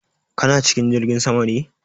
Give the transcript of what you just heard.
Kana cikin jirgin sama ne?